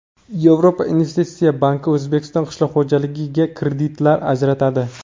Yevropa investitsiya banki O‘zbekiston qishloq xo‘jaligiga kreditlar ajratadi.